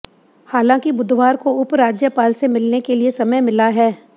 हालांकि बुधवार को उपराज्यपाल से मिलने के लिए समय मिला है